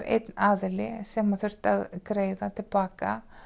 einn aðili sem þurfti að greiða til baka